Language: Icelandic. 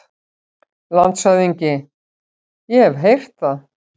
LANDSHÖFÐINGI: Ég hef heyrt það.